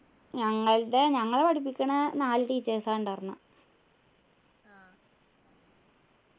ഞങ്ങളുടെ ഞങ്ങളെ പഠിപ്പിക്കുന്ന നാല് teachers ആ ഉണ്ടാർന്നെ